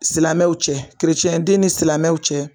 Silamɛw cɛ kerecɛnden ni silamɛw cɛ